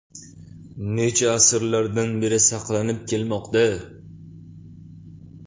Necha asrlardan beri bir saqlanib kelmoqda.